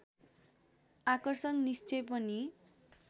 आकर्षण निश्चय पनि